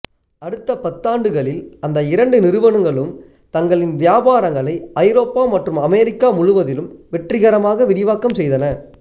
அடுத்த பத்தாண்டுகளில் அந்த இரண்டு நிறுவனங்களும் தங்களின் வியாபாரங்களை ஐரோப்பா மற்றும் அமெரிக்கா முழுவதிலும் வெற்றிகரமாக விரிவாக்கம் செய்தன